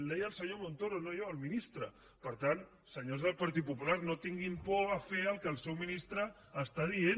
ho deia el senyor montoro no jo el ministre per tant senyors del partit popular no tinguin por de fer el que el seu ministre està dient